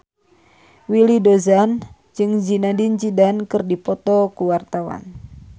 Willy Dozan jeung Zidane Zidane keur dipoto ku wartawan